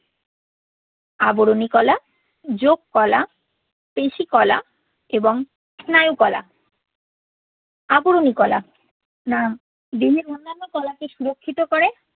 আবরণী কলা, যোগ কলা, পেশী কলা এবং স্নায়ু কলা। আবরণী কলা দেহের অন্যান্য কলাকে সুরক্ষিত করে